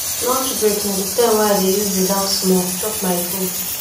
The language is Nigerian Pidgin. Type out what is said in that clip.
lunch break na di time wey i dey use relax small chop my food